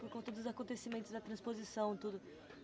Por conta dos acontecimentos da transposição e tudo.